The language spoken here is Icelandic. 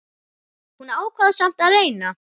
Hún ákvað samt að reyna.